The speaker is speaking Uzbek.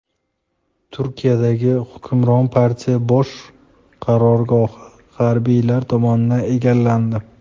Turkiyadagi hukmron partiya bosh qarorgohi harbiylar tomonidan egallandi.